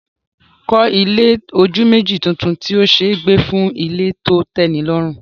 Kọ́ ilé ojú méjì tuntun tí ó ṣe é gbé fún ilé tó tẹ́nilọ́rùn